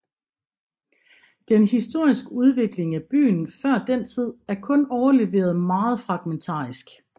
Den historiske udvikling af byen før den tid er kun overleveret meget fragmentarisk